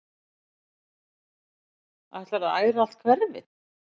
Ætlarðu að æra allt hverfið?